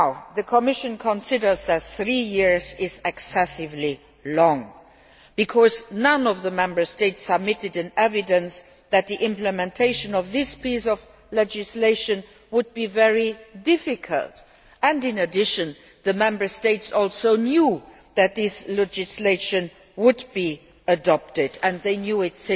The Commission considers that three years is excessively long because none of the Member States submitted any evidence that the implementation of this piece of legislation would be very difficult. In addition, the Member States also knew that this legislation would be adopted and have already known this